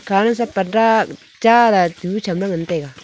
aga pada chala tibu chamla ngan taiga.